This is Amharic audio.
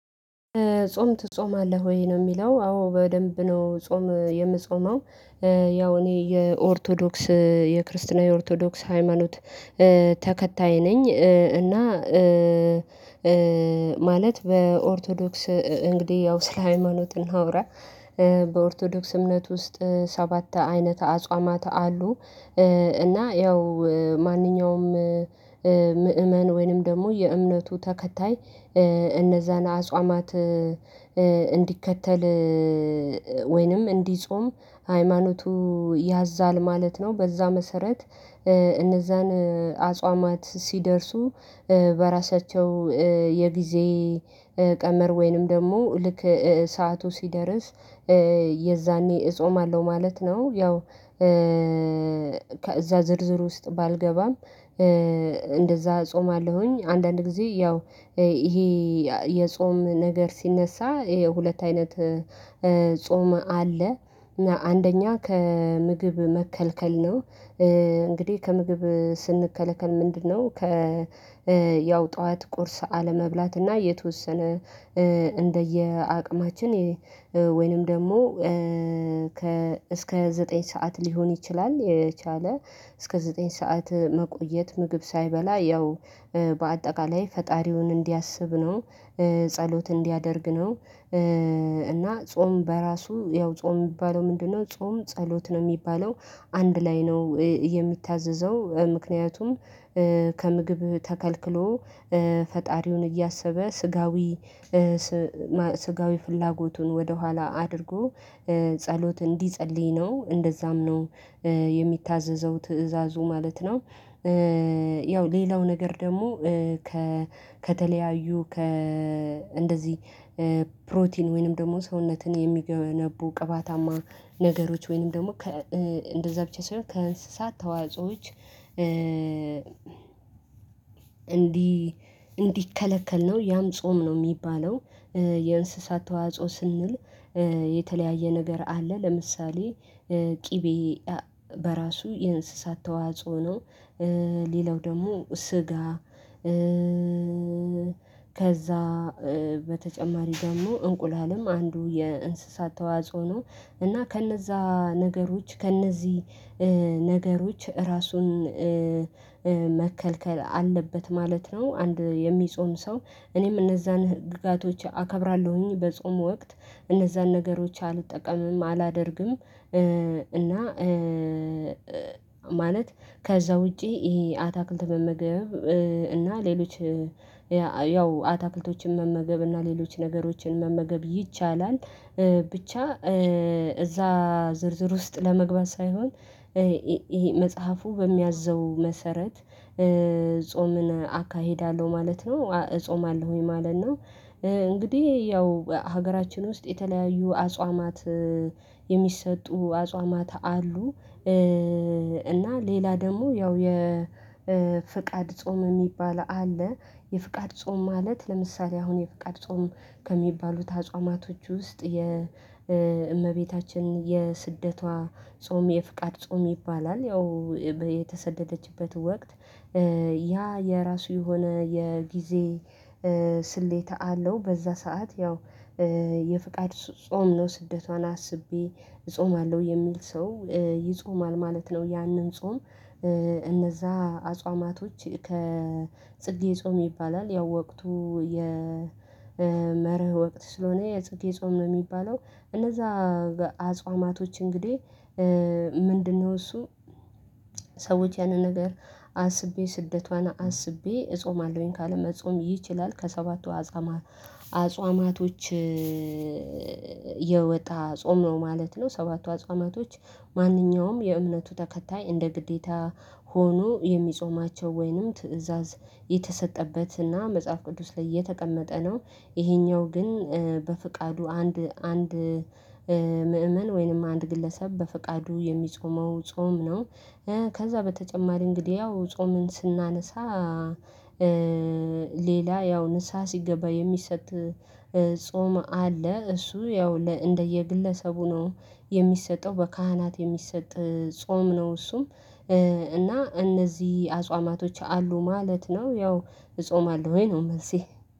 ጾም ትጾማለህ ወይ ነው? የሚለው አዎ በደንብ ነው ጾም የምጾመው ያው እኔ የኦርቶዶክስ የክርስትና የኦርቶዶክስ ሃይማኖት ተከታይ ነኝ። እና ማለት በኦርቶዶክስ እንግዲህ ያው ስለ ሃይማኖትን እናውራ በኦርቶዶክስ እምነት ውስጥ ሰባት አይነት አጽዋማት አሉ። እና ያው ማንኛውም ምእመን ወይንም ደግሞ የእምነቱ ተከታይ እነዛን አጽዋማት እንዲከተል ወይንም እንዲጾም ሃይማኖቱ ያዛል ማለት ነው። በዛ መሰረት እነዛን አጽዋማት ሲደርሱ በራሳቸው የጊዜ ቀመር ወይንም ደግሞ ልክ ሰዓቱ ሲደርስ የዛኔ እጾማለው ማለት ነው። ያው ከዛ ዝርዝር ውስጥ ባልገባም እንደዛ እጾማለሁኝ አንዳንድ ጊዜ ያው ይሄ የጾም ነገር ሲነሳ ይሄ ሁለት አይነት ጾም አለ። እና አንደኛ ከምግብ መከልከል ነው እንግዲህ ከምግብ ስንከለከል ምንድነው? ያው ጠዋት ቁርስ አለመብላት እና የተወሰነ እንደየአቅማችን ወይንም ደግሞ ከ እስከ ዘጠኝ ሰዓት ሊሆን ይችላል የቻለ እስከ ዘጠኝ ሰዓት መቆየት ምግብ ሳይበላ ያው በአጠቃላይ ፈጣሪውን እንዲያስብ ነው። ጸሎት እንዲያደርግ ነው። እና ጾም በራሱ ያው ጾም የሚባለው ምንድነው? ጾም ጸሎት ነው የሚባለው አንድ ላይ ነው የሚታዘዘው። ምክንያቱም ከምግብ ተከልክሎ ፈጣሪውን እያሰበ ስጋዊ ስጋዊ ፍላጎቱን ወደኋላ አድርጎ ጸሎት እንዲጸልይ ነው እንደዛም ነው የሚታዘዘው ትእዛዙ ማለት ነው። ያው ሌላው ነገር ደግሞ ከተለያዩ ከእንደዚህ ፕሮቲን ወይንም ደግሞ ሰውነትን የሚገነቡ ቅባታማ ነገሮች ወይንም ደግሞ ከ እንደዛ ብቻ ሳይሆን ከእንስሳት ተዋጾዎች እንዲከለከል ነው። ያም ጾም ነው የሚባለው። የእንስሳት ተዋጽኦ ስንል የተለያየ ነገር አለ። ለምሳሌ ቅቤ በራሱ የእንስሳት ተዋጽኦ ነው። ሌላው ደግሞ ስጋ ከዛ በተጨማሪ ደግሞ እንቁላልም አንዱ የእንስሳት ተዋጽዎ ነው። እና ከነዛ ነገሮች ከነዚህ ነገሮች ራሱን መከልከል አለበት ማለት ነው። አንድ የሚጾም ሰው እኔም እነዛን ህግጋቶች አከብራለሁኝ በጾም ወቅት እነዛን ነገሮች አልጠቀምም አላደርግም እና። ማለት ከዛ ውጪ ይሄ አታክልት መመገብ እና ሌሎች ያው አታክልቶችን መመገብ እና ሌሎች ነገሮችን መመገብ ይቻላል። ብቻ እዛ ዝርዝር ውስጥ ለመግባት ሳይሆን ይሄ መጽሐፉ በሚያዘው መሰረት ጾምን አካሄዳለሁ ማለት ነው። እጾማለሁኝ ማለት ነው። እንግዲህ ያው ሀገራችን ውስጥ የተለያዩ አጽዋማት የሚሰጡ አጽዋማት አሉ። እና ሌላ ደግሞ ያው የፍቃድ ጾም የሚባል አለ። የፍቃድ ጾም ማለት ለምሳሌ አሁን የፍቃድ ጾም ከሚባሉት አጽዋማቶች ውስጥ የእመቤታችን የስደቷ ጾም የፍቃድ ጾም ይባላል። ያው የተሰደደችበት ወቅት ያ የራሱ የሆነ የጊዜ ስሌት አለው። በዛ ሰዓት ያው የፍቃድ ጾም ነው ስደቷን አስቤ እጾማለሁ የሚል ሰው ይጾማል ማለት ነው። ያንን ጾም እነዛ አጽዋማቶች ከጽጌ ጾም ይባላል ያው ወቅቱ የመርህ ወቅት ስለሆነ የጽጌ ጾም ነው የሚባለው። እነዛ በአጽዋማቶች እንግዲህ ምንድነው እሱ? ሰዎች ያንን ነገር አስቤ ስደቷን አስቤ እጾማለሁኝ ካለ መጾም ይችላል። ከሰባቱ አጽዋማቶች የወጣ ጾም ነው ማለት ነው። ሰባቱ አጽዋማቶች ማንኛውም የእምነቱ ተከታይ እንደ ግዴታ ሆኖ የሚጾማቸው ወይንም ትእዛዝ የተሰጠበት እና መጽሐፍ ቅዱስ ላይ የተቀመጠ ነው። ይሄኛው ግን በፍቃዱ አንድ አንድ ምእመን ወይንም አንድ ግለሰብ በፍቃዱ የሚጾመው ጾም ነው። ከዛ በተጨማሪ እንግዲህ ያው ጾምን ስናነሳ ሌላ ያው ንስሃ ሲገባ የሚሰጥ ጾም አለ። እሱ ያው እንደየግለሰቡ ነው የሚሰጠው በካህናት የሚሰጥ ጾም ነው እሱም እና እነዚህ አጽዋማቶች አሉ ማለት ነው። ያው እጾማለሁኝ ነው መልሴ።